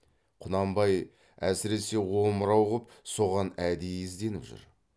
құнанбай әсіресе омырау ғып соған әдейі ізденіп жүр